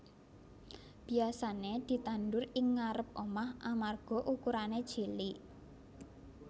Biyasané ditandur ing ngarêp omah amarga ukurané cilik